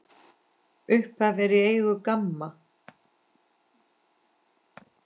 Upphaf er í eigu GAMMA.